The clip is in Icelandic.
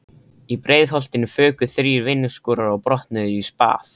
Í Breiðholtinu fuku þrír vinnuskúrar og brotnuðu í spað.